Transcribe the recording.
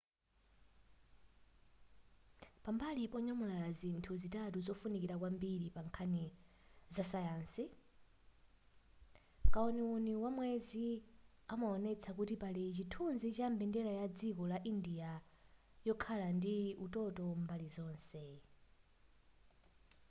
pambali ponyamula zinthu zitatu zofunika kwambiri pa nkhani zasayansi kauniuni wamwezi amaonesa kuti pali chithunzi cha mbendera ya dziko la india yokhala ndi utoto mbali zonse